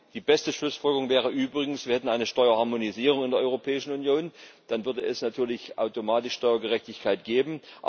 Die beste Schlussfolgerung wäre übrigens, wir hätten eine Steuerharmonisierung in der Europäischen Union, dann würde es automatisch Steuergerechtigkeit geben.